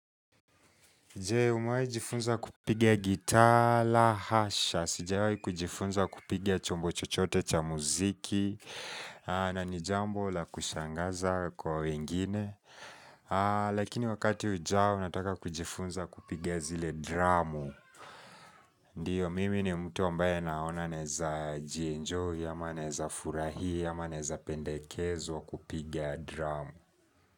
Je, umawai jifunza kupigia gita la, hasha, sijawai kujifunza kupiga chombo chochote cha muziki, na nijambo la kushangaza kwa wengine. Lakini wakati ujao, nataka kujifunza kupigia zile dramu. Ndiyo, mimi ni mtu ambaye naona neza jienjoy, ama neza furahi, ama neza pendekezo kupigia dramu.